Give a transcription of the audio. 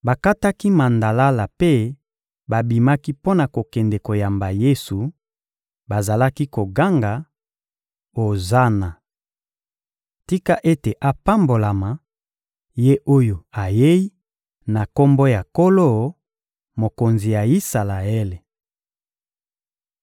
Bakataki mandalala mpe babimaki mpo na kokende koyamba Yesu; bazalaki koganga: «Ozana! Tika ete apambolama, Ye oyo ayei na Kombo ya Nkolo, Mokonzi ya Isalaele!»